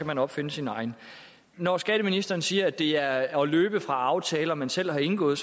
man opfinde sin egen når skatteministeren siger at det er at løbe fra aftaler man selv har indgået